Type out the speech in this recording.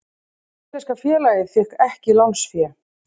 Íslenska félagið fékk ekki lánsfé